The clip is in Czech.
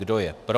Kdo je pro?